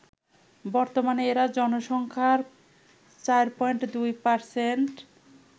বর্তমানে এরা জনসংখ্যার ৪.২%